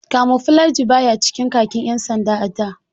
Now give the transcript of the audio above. Kamuflaji baya cikin khakin ƴan sanda a da.